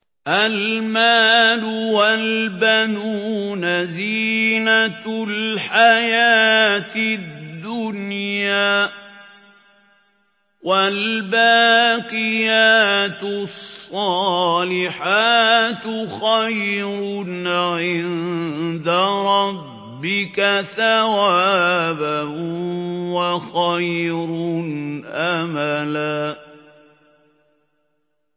الْمَالُ وَالْبَنُونَ زِينَةُ الْحَيَاةِ الدُّنْيَا ۖ وَالْبَاقِيَاتُ الصَّالِحَاتُ خَيْرٌ عِندَ رَبِّكَ ثَوَابًا وَخَيْرٌ أَمَلًا